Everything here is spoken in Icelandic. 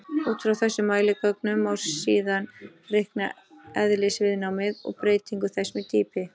Út frá þessum mæligögnum má síðan reikna eðlisviðnámið og breytingu þess með dýpi.